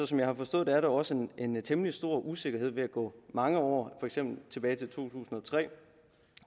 som jeg har forstået det er der også en temmelig stor usikkerhed ved at gå mange år for eksempel tilbage til to tusind og tre